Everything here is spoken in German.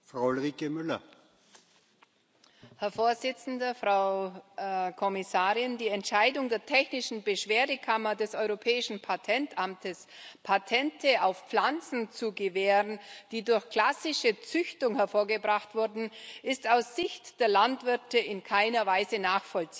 Herr Präsident, Frau Kommissarin! Die Entscheidung der Technischen Beschwerdekammer des Europäischen Patentamtes, Patente auf Pflanzen zu gewähren, die durch klassische Züchtung hervorgebracht wurden, ist aus Sicht der Landwirte in keiner Weise nachvollziehbar.